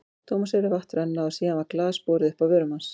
Thomas heyrði vatn renna og síðan var glas borið upp að vörum hans.